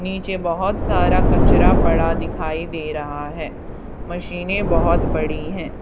नीचे बहुत सारा कचरा पड़ा दिखाई दे रहा है मशीने बहुत बड़ी हैं।